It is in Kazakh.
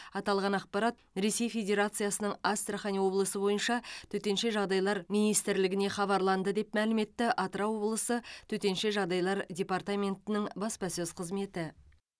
аталған ақпарат ресей федерациясының астрахан облысы бойынша төтенша жағдайлар министрлігіне хабарланды деп мәлім етті атырау облысы төтенша жағдайлар департаментінің баспасөз қызметі